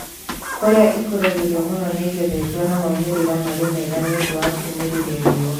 Kũrĩa ikũragĩrio mũno nĩigethetwo na maumĩrĩra marĩ mega nĩundũ wa kũmĩrĩria riũa